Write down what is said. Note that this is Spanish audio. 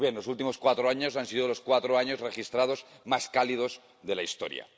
Pues bien, los últimos cuatro años han sido los cuatro años registrados como más cálidos de la historia.